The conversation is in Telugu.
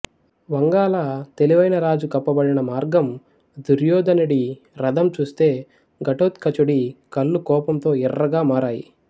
వంగాల తెలివైన రాజు కప్పబడిన మార్గం దుర్యోధనుడి రధం చూస్తే ఘటోత్కచుడి కళ్ళు కోపంతో ఎర్రగా మారాయి